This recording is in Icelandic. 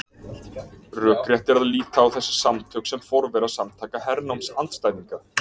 Rökrétt er að líta á þessi samtök sem forvera Samtaka hernámsandstæðinga.